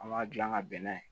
An b'a dilan ka bɛn n'a ye